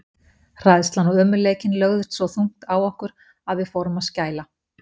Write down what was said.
Hræðslan og ömurleikinn lögðust svo þungt á okkur, að við fórum að skæla.